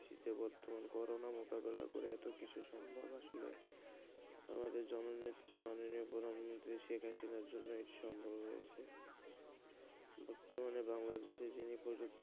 বর্তমানে করোনা মুকাবিলা করে এত কিছু সম্ভব আসলে আমাদের জন নেত্রী মাননীয়া প্রধানমন্ত্রী শেখ হাসিনার জন্য সম্ভব হয়েছে বর্তমানে বাংলাদেশি যিনি প্রযুক্তি,